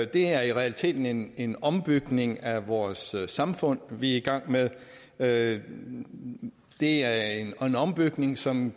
det er i realiteten en en ombygning af vores samfund vi er i gang med det er en er en ombygning som